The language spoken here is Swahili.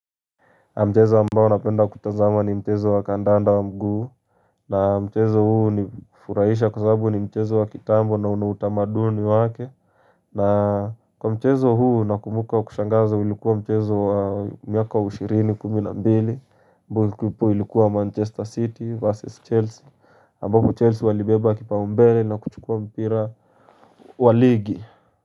Mchezo ambao napenda kutazama ni mchezo wa kandanda wa mguu na mchezo huu hunifuraisha kwa sababu ni mchezo wa kitambo na una utamaduni wake na kwa mchezo huu nakumbuka wa kushangaza ilikuwa mchezo wa mwaka wa ishirini kumi na mbili ambapo ilikuwa Manchester City versus Chelsea ambapo Chelsea walibeba kipa umbele na kuchukua mpira wa ligi.